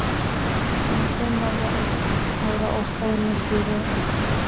Hún var fimm ára og stóð næst í röðinni.